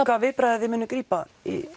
hvaða viðbragða þið munið grípa